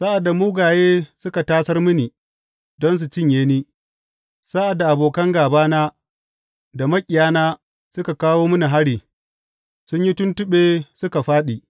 Sa’ad da mugaye suka tasar mini don su cinye ni, sa’ad da abokan gābana da maƙiyina suka kawo mini hari, sun yi tuntuɓe suka fāɗi.